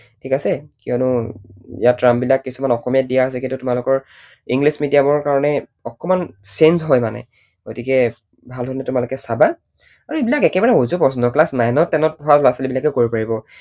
ঠিক আছে? কিয়নো ইয়াত term বিলাক কিছুমান অসমীয়াত দিয়া আছে, কিন্তু তোমালোকৰ english medium ৰ কাৰণে অকণমান change হয় মানে। গতিকে ভাল ধৰণে তোমালোকে চাবা। আৰু এইবিলাক একেবাৰে উজু প্ৰশ্ন। class nine ত ten ত পঢ়া লৰা ছোৱালী বিলাকেও কৰিব পাৰিব।